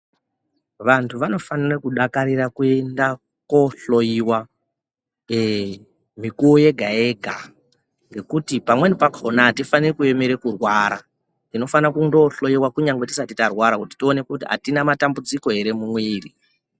Vantu vanofanira kudakarira kuenda kohloyiwa eee mikuwo wega wega ngekuti pamweni pakhona atifaniri kuemera kurwara tinofanira kundohloyiwa tisati tarwara kuti tionekwe kuti atina matambudziko ere mumwiri.